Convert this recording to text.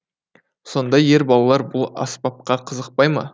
сонда ер балалар бұл аспапқа қызықпай ма